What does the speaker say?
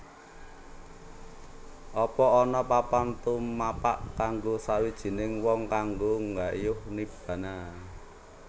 Apa ana papan tumapak kanggo sawijining wong kanggo nggayuh Nibbana